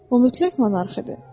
O mütləq monarxdı.